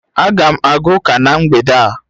Aga m aga ụka na mgbede a